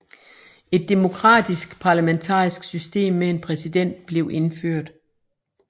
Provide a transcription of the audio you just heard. Et demokratisk parlamentarisk system med en præsident blev indført